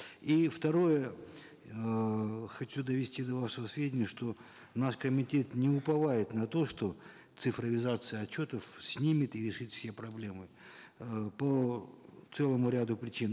и второе эээ хочу довести до вашего сведения что наш комитет не уповает на то что цифровизация отчетов снимет и решит все проблемы э по целому ряду причин